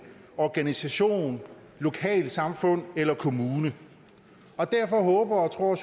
organisation et lokalsamfund eller en kommune derfor håber og tror